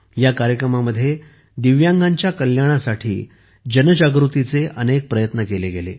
या कार्यक्रमामध्ये दिव्यांगांच्या कल्याणासाठी जनजागृतीचे अनेक प्रयत्न केले गेले